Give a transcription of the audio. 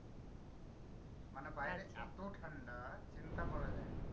মানে বাইরে এতো ঠান্ডা, চিন্তা করা যায় না।